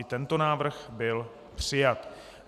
I tento návrh byl přijat.